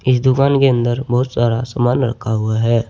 दुकान के अंदर बहुत सारा सामान रखा हुआ है।